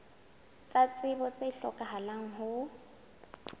tsa tsebo tse hlokahalang ho